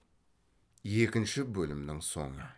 екінші бөлімнің соңы